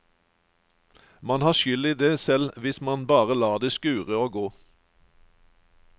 Man har skyld i det selv hvis man bare lar det skure og gå.